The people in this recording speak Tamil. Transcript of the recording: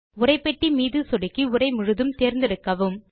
உரைப்பெட்டி மீது சொடுக்கி உரை முழுதும் தேர்ந்தெடுக்கவும்